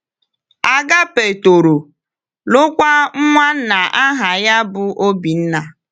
Agápé toro, lụọkwa nwanna aha ya bụ Obinna.